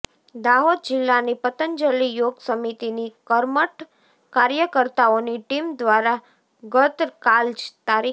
દાહોદ જીલ્લાની પતંજલિ યોગ સમિતિની કર્મઠ કાર્યકર્તાઓની ટીમ દ્વારા ગતકાલ તા